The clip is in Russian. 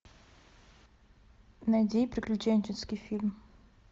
найди приключенческий фильм